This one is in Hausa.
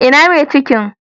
Ina mai cikin?